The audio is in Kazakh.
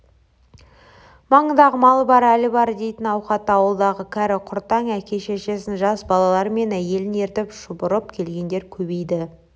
маңындағы малы бар әлі бар дейтін ауқатты ауылдарға кәрі-құртаң әке-шешесін жас балалары мен әйелін ертіп шұбырып келгендер көбейді